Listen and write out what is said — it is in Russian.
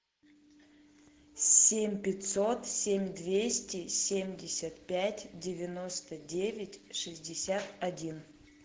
семь пятьсот семь двести семьдесят пять девяносто девять шестьдесят один